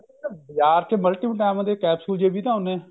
ਬਾਜ਼ਾਰ ਚ multi vitamin ਦੇ capsule ਜੇ ਵੀ ਤਾਂ ਆਉਂਦੇ ਨੇ